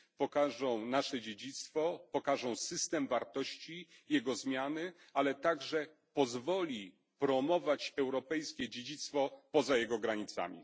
pokażą nasze dziedzictwo, pokażą system wartości, jego zmiany, ale także pozwolą promować europejskie dziedzictwo poza jego granicami.